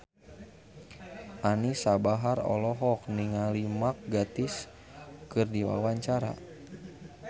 Anisa Bahar olohok ningali Mark Gatiss keur diwawancara